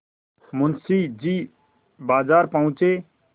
मुंशी जी बाजार पहुँचे